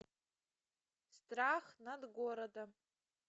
страх над городом